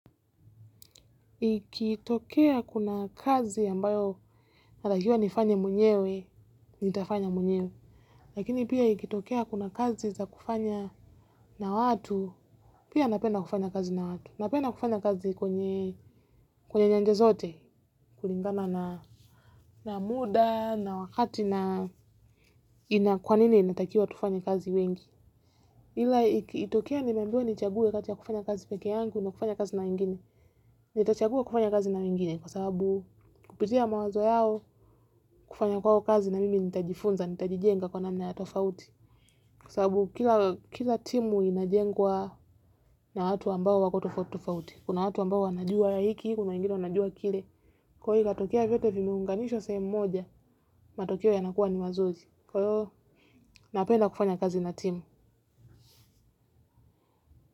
Ikitokea kuna kazi ambayo natakiwa nifanye mwenyewe, nitafanya mwenyewe, lakini pia ikitokea kuna kazi za kufanya na watu, pia napenda kufanya kazi na watu, napenda kufanya kazi kwenye kwenye nyanja zote kulingana na muda na wakati na kwa nini inatakiwa tufanye kazi wengi. Ila ikitokea nimeambiwa nichague kati ya kufanya kazi peke yangu na kufanya kazi na wengine. Nitachagua kufanya kazi na wengine kwa sababu kupitia mawazo yao kufanya kwao kazi na mimi nitajifunza nitajijenga kwa namna ya tofauti kwa sababu kila timu inajengwa na watu ambao wako tofauti tofauti kuna watu ambao wanajua hiki kuna wengine wanajua kile kwa hiyo ikatokea vyote vimeunganishwa sehemu moja matokeo yanakuwa ni mazuri kwa hiyo napenda kufanya kazi na timu.